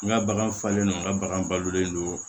N ka bagan falen no n ga bagan balolen don